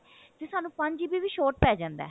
ਤੇ ਸਾਨੂੰ ਪੰਜ GB ਵੀ short ਪੈ ਜਾਂਦਾ